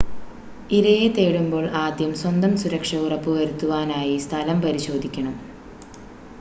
ഇരയെ തേടുമ്പോൾ ആദ്യം സ്വന്തം സുരക്ഷ ഉറപ്പുവരുത്തുവാനായി സ്ഥലം പരിശോധിക്കണം